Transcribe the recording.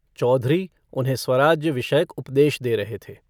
चौधरी उन्हें स्वराज्य विषयक उपदेश दे रहे थे।